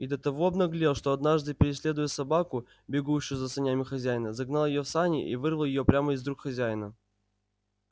и до того обнаглел что однажды преследуя собаку бегущую за санями хозяина загнал её в сани и вырвал её прямо из рук хозяина